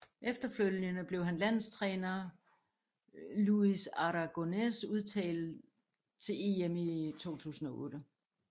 Efterfølgende blev han af landstræner Luis Aragonés udtaget til EM i 2008